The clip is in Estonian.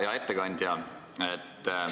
Hea ettekandja!